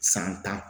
San tan